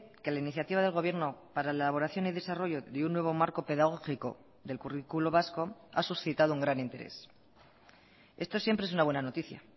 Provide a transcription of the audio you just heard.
que la iniciativa del gobierno para la elaboración y desarrollo de un nuevo marco pedagógico del currículo vasco ha suscitado un gran interés esto siempre es una buena noticia